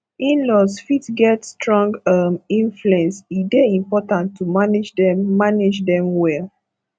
inlaws fit get strong um influence e dey important to manage dem manage dem well